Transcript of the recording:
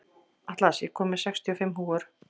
Atlas, ég kom með sextíu og fimm húfur!